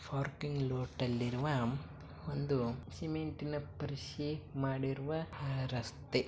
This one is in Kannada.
ಪಾರ್ಕಿಂಗ್ ಲೋಟಲ್ಲಿರುವ ಒಂದು ಸಿಮೆಂಟಿನ ಪಾರ್ಸಿ ಮಾಡಿರುವ ರಸ್ತೆ .